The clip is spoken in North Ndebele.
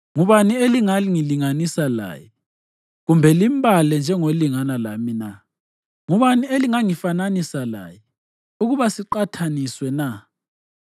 Ngubani elingangilinganisa laye kumbe limbale njengolingana lami na? Ngubani elingangifananisa laye ukuba siqathaniswe na?